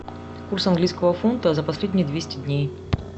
курс английского фунта за последние двести дней